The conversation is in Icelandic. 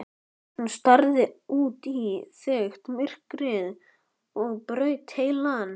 Hún starði út í þykkt myrkrið og braut heilann.